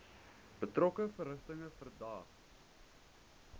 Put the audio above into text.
betrokke verrigtinge verdaag